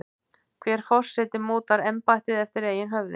Hver forseti mótar embættið eftir eigin höfði.